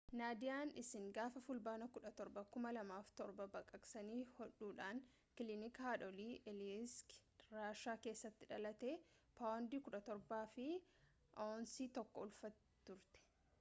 naadiyaan isiin gaafa fulbaana 17 2007 baqaqsanii hodhuudhaan kilinika haadholii aleeyiski raashaa keessatti dhalatte paawundii 17 fi aawunsii 1 ulfaatti turte